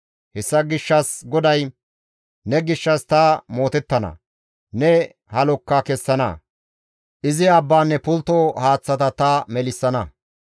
Hessa gishshas GODAY, «Ne gishshas ta mootettana; ne halokka kessana; izi abbaanne pultto haaththata ta melissana.